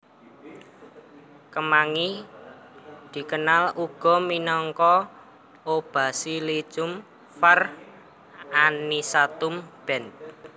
Kemangi dikenal uga minangka O basilicum var anisatum Benth